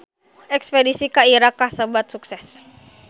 Espedisi ka Irak kasebat sukses